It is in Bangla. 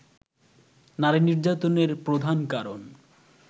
নারী নির্যাতনের প্রধান কারণ